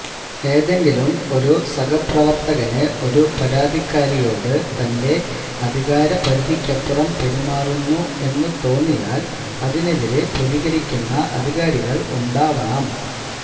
ഏതെങ്കിലും ഒരു സഹപ്രവര്ത്തകന് ഒരു പരാതിക്കാരിയോട് തന്റെ അധികാര പരിധിക്കപ്പുറം പെരുമാറുന്നു എന്ന് തോന്നിയാല് അതിനെതിരെ പ്രതികരിക്കുന്ന അധികാരികള് ഉണ്ടാവണം